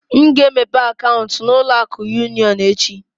M ga-emepe akaụntụ na ụlọ akụ union echi